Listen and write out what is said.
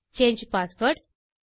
சாங்கே password